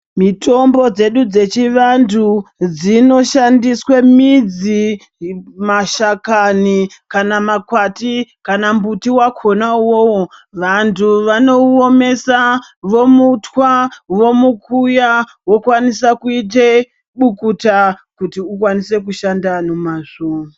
Mitombo dzedu dzechivantu dzinoshandiswe midzi, mashakani kana makwati kana mbuti wakona uwowo. Vantu vanouomesa, vomutwa, vomukuya vokwanise kuite bukuta kuti ukwanise kushanda nomazvo.